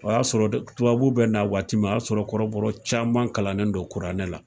O y'a sɔrɔ tubabu bɛ na waati min, o y'a sɔrɔ kɔrɔbɔrɔ caman kalannen don kuranɛ la.